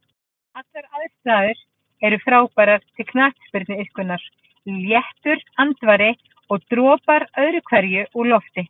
Allar aðstæður er frábærar til knattspyrnuiðkunar, léttur andvari og dropar öðru hverju úr lofti.